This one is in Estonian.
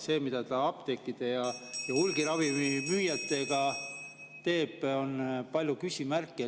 Selles, mida ta apteekide ja ravimite hulgimüüjatega teeb, on palju küsimärke.